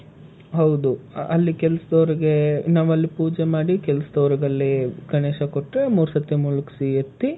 ಹೌದು. ಅಲ್ಲಿ ಕೆಲಸದವ್ರಿಗೆ ನಾವಲ್ಲಿ ಪೂಜೆ ಮಾಡಿ ಕೆಲಸ್ದವ್ರಿಗಲ್ಲಿ ಗಣೇಶ ಕೊಟ್ರೆ ಮೂರ್ಸರ್ತಿ ಮುಳುಗ್ಸಿ ಎತ್ತಿ,